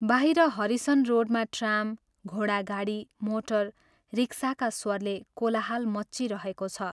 बाहिर हरिसन रोडमा ट्राम, घोडागाडी, मोटर, रिक्साका स्वरले कोलाहल मच्चिरहेको छ।